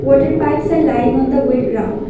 Water pipes are lying on the wet ground.